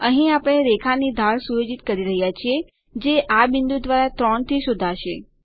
અહીં આપણે રેખાની ઢાળ સુયોજિત કરી રહ્યા છીએ જે આ બિંદુ દ્વારા 3 થી શોધાશે